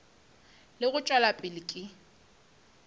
le go tšwela pele ka